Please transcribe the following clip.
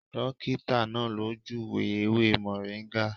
Dọ́kítà náà ló júùwé ewé mọ̀ríngà.